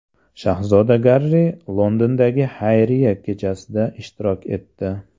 Shahzoda Garri Londondagi xayriya kechasida ishtirok etdi.